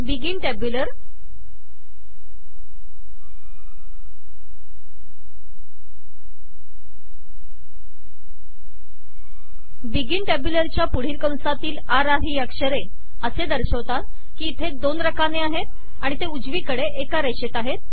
begin टँब्युलरच्या पुढील कंसातील र र ही अक्षरे असे दर्शवतात की इथे दोन रकाने आहेत आणि ते उजवीकडे एका रेषेत आहेत